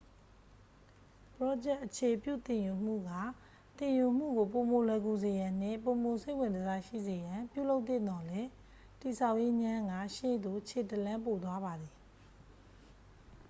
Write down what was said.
ပရောဂျက် အခြေပြုသင်ယူမှုက သင်ယူမှုကို ပိုမိုလွယ်ကူစေရန်နှင့် ပိုမိုစိတ်ဝင်တစားရှိစေရန် ပြုလုပ်သင့်သော်လည်း တည်ဆောက်ရေးငြမ်းက ရှေ့သို့ခြေတစ်လှမ်းပိုသွားပါသည်